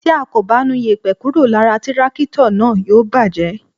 Tí a kò bá nu yèpẹ̀ kúrò lára tírákítọ̀ náà, yóò bàjẹ́.